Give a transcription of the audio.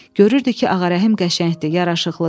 Görürdü ki, Ağarəhim qəşəngdir, yaraşıqlıdır.